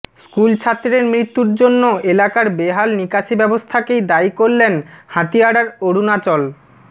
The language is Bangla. স্কুলছাত্রের মৃত্যুর জন্য এলাকার বেহাল নিকাশি ব্যবস্থাকেই দায়ী করলেন হাতিয়াড়ার অরুণাচল